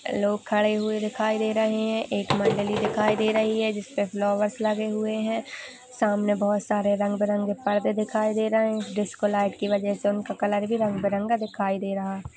अ लोग खड़े हुए दिखाई दे रहे है। एक मंडली दिखाई दे रही है। जिसपे फ्लावर्स लगे हुए है। सामने बहुत सारे परदे रंग बिरंगे परदे दिखाई दे रहे है। डिस्को लाइट की वजह से उनका कलर भी रंग बिरंगा दिखाई दे रहा है।